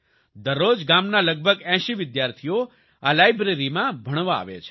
દરરોજ ગામનાં લગભગ 80 વિદ્યાર્થીઓ આ લાયબ્રેરીમાં ભણવા આવે છે